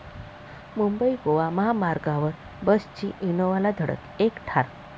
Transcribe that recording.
मुंबई गोवा महामार्गावर बसची इनोव्हाला धडक, एक ठार